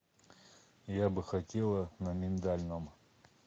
я бы хотела на миндальном